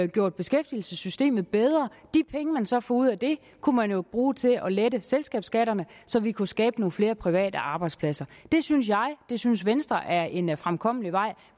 gjort beskæftigelsessystemet bedre de penge man så får ud af det kunne man jo bruge til at lette selskabsskatten så vi kunne skabe nogle flere private arbejdspladser det synes jeg og det synes venstre er en fremkommelig vej